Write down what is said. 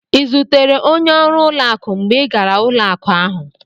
Ị zutere onye ọrụ ụlọakụ mgbe ị gara ụlọakụ ahụ?